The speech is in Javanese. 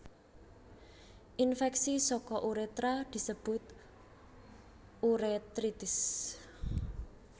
Infèksi saka urétra disebut urétritis